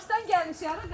Nənə, Qaxdan gəlmişik.